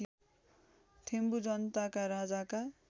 थेम्बु जनताका राजाका